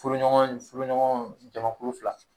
Furu ɲɔgɔn furu ɲɔgɔn jamakulu jamakulu fila sɔrɔ